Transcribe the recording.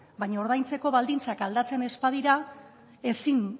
baino ordaintzeko baldintzak aldatzen ez badira